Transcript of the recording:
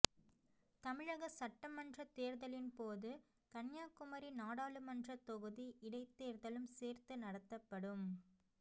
தமிழக சட்டமன்றத் தேர்தலின்போது கன்னியாகுமரி நாடாளுமன்ற தொகுதி இடைத்தேர்தலும் சேர்த்து நடத்தப்படும்